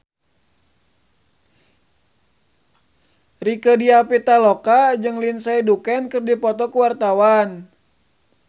Rieke Diah Pitaloka jeung Lindsay Ducan keur dipoto ku wartawan